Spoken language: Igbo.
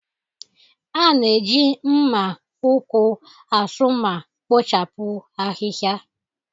A na-eji mma ukwu asu ma kpochapụ ahịhịa.